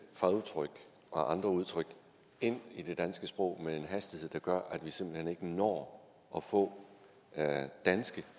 fagudtryk og andre udtryk ind i det danske sprog med en hastighed der gør at vi simpelt hen ikke når at få danske